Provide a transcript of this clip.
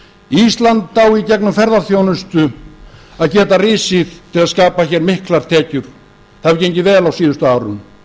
ísland á í gegnum ferðaþjónustu að geta risið til að skapa hér miklar tekjur það hefur gengið vel á síðustu árum